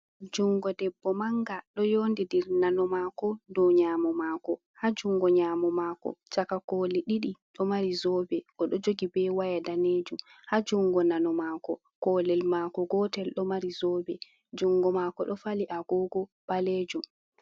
Jungo debbo manga ɗo yondindir nano mako do nyamo mako, ha jungo nyamo mako chaka koli ɗiɗi ɗo mari zobe, oɗo jogi be waya danejum ha jungo nano mako, kolel mako gotel ɗo mari zobe jungo mako ɗo fali agogo ɓalejum.